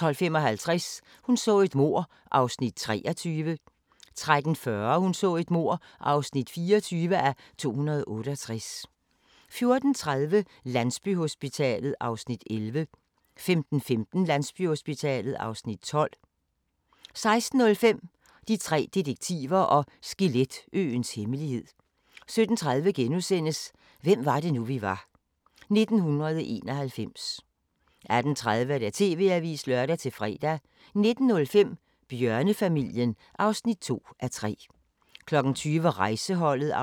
12:55: Hun så et mord (23:268) 13:40: Hun så et mord (24:268) 14:30: Landsbyhospitalet (Afs. 11) 15:15: Landsbyhospitalet (Afs. 12) 16:05: De tre detektiver og Skeletøens hemmelighed 17:30: Hvem var det nu, vi var -1991 * 18:30: TV-avisen (lør-fre) 19:05: Bjørnefamilien (2:3) 20:00: Rejseholdet (7:32)